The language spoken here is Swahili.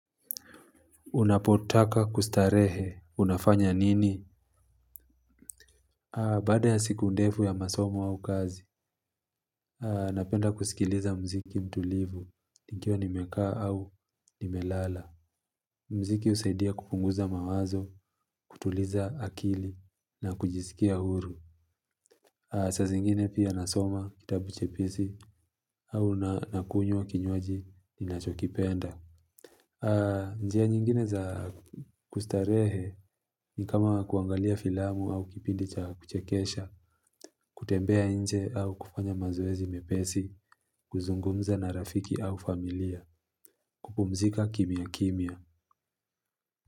Unapotaka kustarehe, unafanya nini? Baada ya siku ndefu ya masomo au kazi, ninapenda kusikiliza mziki mtulivu, nikiwa nimekaa au nimelala. Mziki husaidia kupunguza mawazo, kutuliza akili, na kujisikia huru. Saa zingine pia ninasoma kitabu chepesi au ninakunywa kinywaji ninachokipenda. Njia nyingine za kustarehe ni kama kuangalia filamu au kipindi cha kuchekesha, kutembea nje au kufanya mazoezi mepesi, kuzungumza na rafiki au familia, kupumzika kimya kimya.